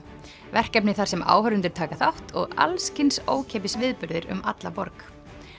verkefni þar sem áhorfendur taka þátt og alls kyns ókeypis viðburðir um alla borg